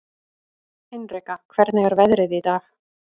Hinrika, hvernig er veðrið í dag?